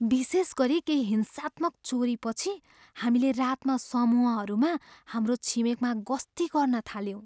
विशेष गरी केही हिंसात्मक चोरीपछि हामीले रातमा समूहहरूमा हाम्रो छिमेकमा गस्ती गर्न थाल्यौँ।